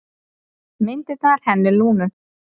Myndirnar hennar Lúnu.